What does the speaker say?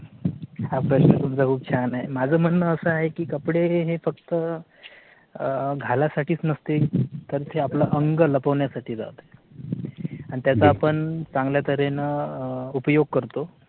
हा प्रश्न तुमचा खूप छान आहे. माझं म्हणणं असं आहे की कपडे हे फक्त अह घालासाठीच नसते तर ते आपलं अंग लपवण्यासाठी जाते आणि त्याचा आपण चांगल्या तऱ्हेनं अं उपयोग करतो.